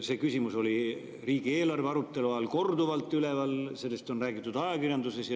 See küsimus oli riigieelarve arutelu ajal korduvalt üleval, sellest on räägitud ka ajakirjanduses.